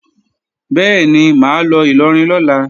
Bẹ́ẹ̀ni, mà á lọ Ìlọrin lọ́la